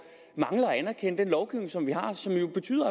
mangler at anerkende den lovgivning som vi har